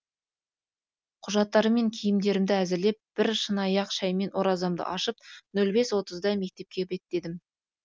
құжаттарым мен киімдерімді әзірлеп бір шыныаяқ шәймен оразамды ашып нөл бес отызда мектепке беттедім